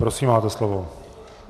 Prosím, máte slovo.